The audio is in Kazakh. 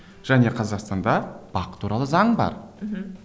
және қазақстанда бақ туралы заң бар мхм